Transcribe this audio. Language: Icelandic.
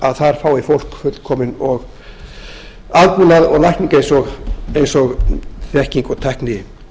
að þar fái fólk fullkominn aðbúnað og lækningu eins og þekking og tækni